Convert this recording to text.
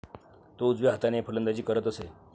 तो उजव्या हाताने फलंदाजी करत असे.